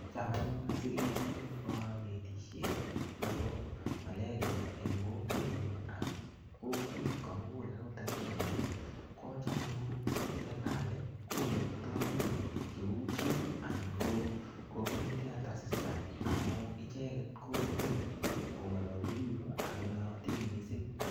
Chaam anyun asikenyor konetishet nebo malaria en kokwenyun ak kokwet komukul akot en Kenya kocham anyun serikali koyokto biik ko cheu chif anan ko community elder assistant amun icheket kong'en ko ngololchi biik ak konootin mising.